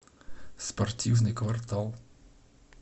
спортивный квартал